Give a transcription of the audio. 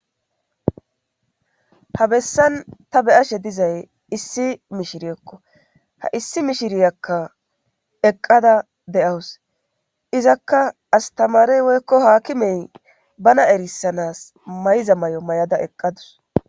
ha bessan ta beyashe dizay issi mishiriyokko ha issi mishiriyakka eqqada de7awus izakka astamarey woykko haakimey bana erissanas mayza may7o may7ada eqqadus